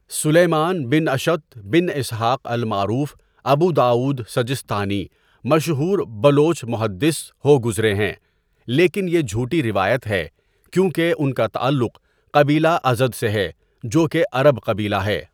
سلیمان بن اشعت بن اسحق المعرو ف ابوداؤد سجستانى مشهور بلوچ محدث هو گزرے ہین لیکن یہ جھوٹی روایت ہے کیوں کہ ان کا تعلق قبیلہ ازد سے ہے جو کہ عرب قبیلہ ہے.